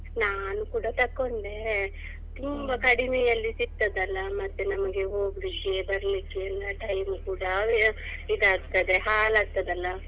ನಾನ್ ಕೂಡ ತಕೊಂಡೆ ತುಂಬಾ ಕಡಿಮೆಯಲ್ಲಿ ಸಿಕ್ತದಲ್ಲಾ ಮತ್ತೆ ನಮ್ಗೆ ಹೋಗ್ಲಿಕ್ಕೆ ಬರ್ಲಿಕ್ಕೆಲ್ಲ time ಕೂಡ ಇದ್ ಆಗ್ತದೆ ಹಾಳ್ ಆಗ್ತದಲ್ಲ.